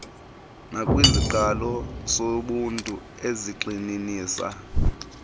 nakwisiqalo sobuntu ezigxininisa